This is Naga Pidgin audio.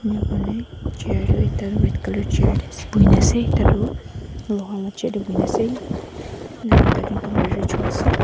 Left phane chair aro ekta red colour chair dae ase buhi nuh ase ekta tuh loha la chair dae buhina ase enika hona tatey computer choa ase.